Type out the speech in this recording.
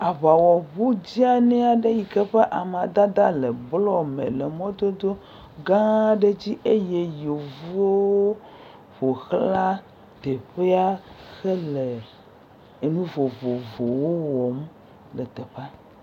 Aŋawɔŋu dzeani aɖe yi ke ƒe amadede le blɔ me le mɔdodo gã aɖe dzi eye yevuwo ƒoxla teƒea ɖe nu le ele ene vovovowo wɔm le teƒea.